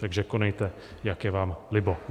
Takže konejte, jak je vám libo.